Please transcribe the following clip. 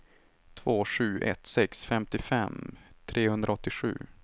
två sju ett sex femtiofem trehundraåttiosju